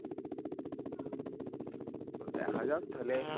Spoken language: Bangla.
দেখা যাক তাহলে